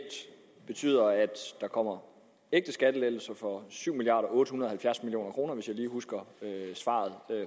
betyder at der kommer ægte skattelettelser for syv milliard kroner hvis jeg husker svaret